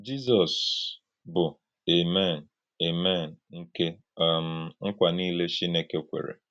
Jízọs bụ̀ “Àmèn” “Àmèn” nke um nkwa niile Chínèkè kwèrè.